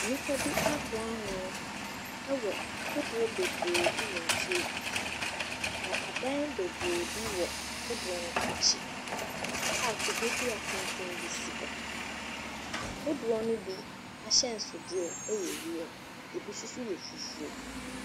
Nnipa bi aboa ano wɔ kodoɔ bebree bi wɔ nsuo bi ti. Na adan bebree wɔ kodoɔ no akyi a kubedua tenten bi si hɔ. Kodoɔ no bi ahyɛnsodeɛ yɛ wiem. Ebi nso yɛ fufuo.